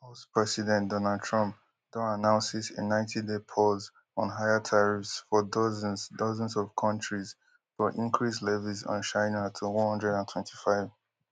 us president donald trump don announces a ninetyday pause on higher tariffs for dozens dozens of kontris but increase levies on china to one hundred and twenty-five